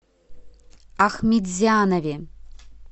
ахметзянове